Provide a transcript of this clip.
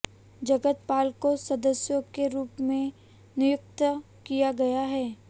जगत पाल को सदस्यों के रूप में नियुक्त किया गया है